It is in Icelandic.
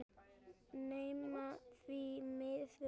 Nammi, því miður.